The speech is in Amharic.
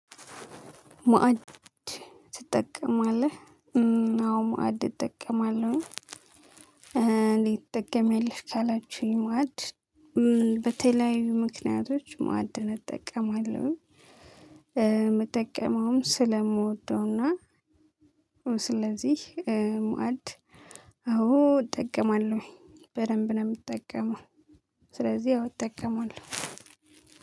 መአድ ትጠቀማለህ አዎ መአድ እጠቀማለሁ እንዴት ትጠቀሚያለሽ? ካላችሁኝ መአድ በተለያዩ ምክንያቶች ማዕድን እጠቀማለሁ። የምጠቀመውም ስለምወደውና ስለዚህ መአድ አዎ እጠቀማለሁ በደንብ ነው የምጠቀመው። ስለዚህ አዎ እጠቀማለሁ።